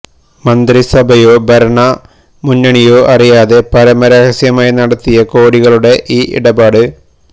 മന്ത്രിസഭയോ ഭരണ മുന്നണിയോ അറിയാതെ പരമ രഹസ്യമായി നടത്തിയ കോടികളുടെ ഈ ഇടപാട്